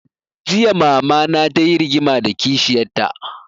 Jiya mama na ta yi rigima da kishiyar ta